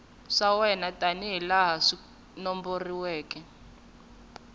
swa wena tanihilaha swi nomboriweke